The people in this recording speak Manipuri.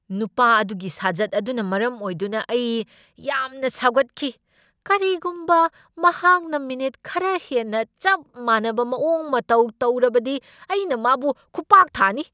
ꯅꯨꯄꯥ ꯑꯗꯨꯒꯤ ꯁꯥꯖꯠ ꯑꯗꯨꯅ ꯃꯔꯝ ꯑꯣꯏꯗꯨꯅ ꯑꯩ ꯌꯥꯝꯅ ꯁꯥꯎꯒꯠꯈꯤ꯫ ꯀꯔꯤꯒꯨꯝꯕ ꯃꯍꯥꯛꯅ ꯃꯤꯅꯤꯠ ꯈꯔ ꯍꯦꯟꯅ ꯆꯞ ꯃꯥꯟꯅꯕ ꯃꯑꯣꯡ ꯃꯇꯧ ꯇꯧꯔꯕꯗꯤ ꯑꯩꯅ ꯃꯥꯕꯨ ꯈꯨꯄꯥꯛ ꯊꯥꯅꯤ꯫